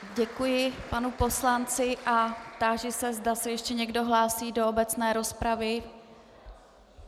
Děkuji panu poslanci a táži se, zda se ještě někdo hlásí do obecné rozpravy.